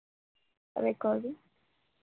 recording